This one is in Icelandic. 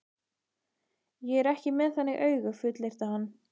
Ég er ekki með þannig augu, fullyrti hann.